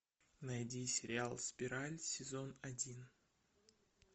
найди сериал спираль сезон один